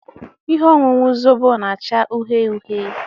Ihe ọṅụṅụ Zobo na-acha uhie uhie.